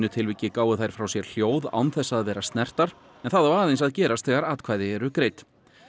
tilviki gáfu þær frá sér hljóð án þess að vera en það á aðeins að gerast þegar atkvæði eru greidd